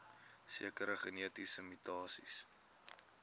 sekere genetiese mutasies